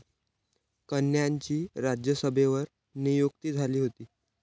कन्यांची राज्यसभेवर नियुक्ती झाली होती.